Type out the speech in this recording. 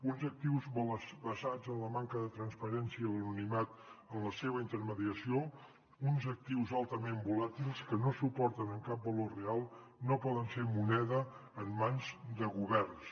uns actius basats en la manca de transparència i l’anonimat en la seva intermediació uns actius altament volàtils que no se suporten en cap valor real no poden ser moneda en mans de governs